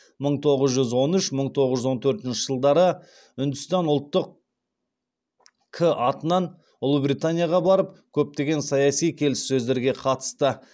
мың тоғыз жүз он үш мың тоғыз жүз он төртінші жылдары үндістан ұлттық к атынан ұлыбританияға барып көптеген саяси келіссөздерге қатысты